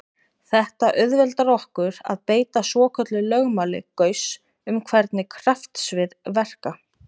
Þetta auðveldar okkur að beita svokölluðu lögmáli Gauss um hvernig kraftsvið verka.